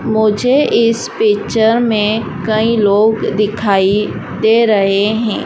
मुझे इस पिक्चर में कई लोग दिखाई दे रहे हैं।